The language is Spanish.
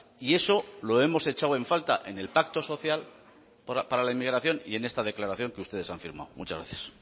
y eso lo hemos hecho en falta en el pacto social para la inmigración y en esta declaración que ustedes han firmado muchas gracias